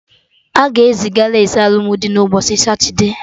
Aga eziga lace alụmdi na ụbọchị satude